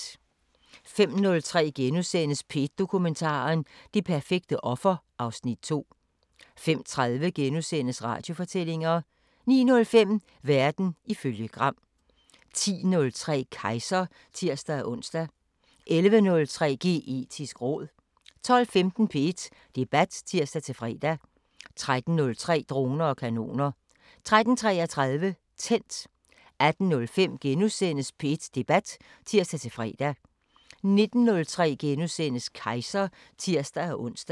05:03: P1 Dokumentar: Det perfekte offer (Afs. 2)* 05:30: Radiofortællinger * 09:05: Verden ifølge Gram 10:03: Kejser (tir-ons) 11:03: Geetisk råd 12:15: P1 Debat (tir-fre) 13:03: Droner og kanoner 13:33: Tændt 18:05: P1 Debat *(tir-fre) 19:03: Kejser *(tir-ons)